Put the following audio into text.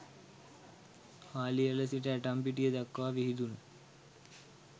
හාලිඇල සිට ඇටම්පිටිය දක්වා විහිදුන